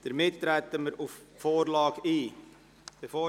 Somit treten wir auf die Vorlage ein.